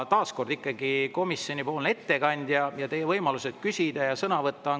Taas kord, ikkagi komisjonipoolse ettekandja küsida, ka saab sõna võtta.